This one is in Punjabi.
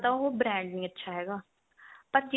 ਜਾਂ ਤਾਂ ਉਹ brand ਨੀ ਅੱਛਾ ਹੈਗਾ ਪਰ ਜੇ